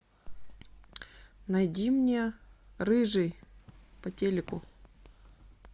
найди мне рыжий по телеку